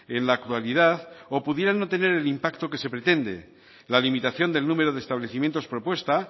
en la actualidad o pudieran no tener el impacto que se pretende la limitación del número de establecimientos propuesta